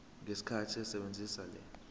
ngesikhathi esebenzisa le